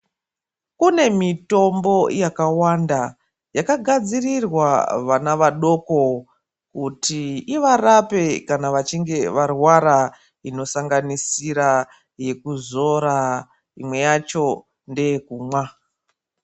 Kune mitombo yakawanda yakagadzirirwa vana vadoko kuti ivarape kana vachinge varwara inosanganisira yekuzora imwe yacho ngeye kumwa.